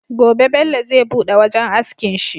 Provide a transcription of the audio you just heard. Gobe Bello zai buɗe wajan askin shi